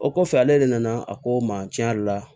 O kɔfɛ ale de nana a ko n ma tiɲɛ yɛrɛ la